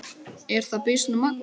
Er það býsna magnað.